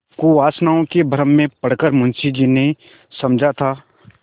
कुवासनाओं के भ्रम में पड़ कर मुंशी जी ने समझा था